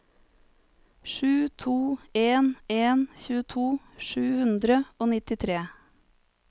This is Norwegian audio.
sju to en en tjueto sju hundre og nittitre